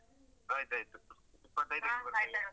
ಆಯ್ತಾಯ್ತು ಇಪ್ಪತ್ತೈದಕ್ಕೆ ಬರ್ತೇನೆ.